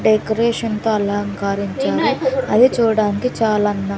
డెకరేషన్తో అలంకరించారు అది చూడ్డానికి చాలా అందంగా --